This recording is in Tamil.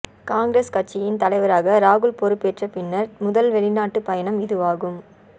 காங்கிரஸ் கட்சியின் தலைவராக ராகுல் பொறுப்பேற்ற பின்னர் முதல்வெளிநாட்டு பயணம் இதுவாகும்